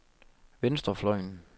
venstrefløjen